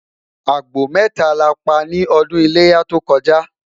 àgbò meta la pa ní ọdún iléyá tó koja